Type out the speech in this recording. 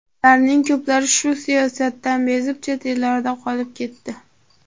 Ularning ko‘plari shu siyosatdan bezib, chet ellarda qolib ketdi.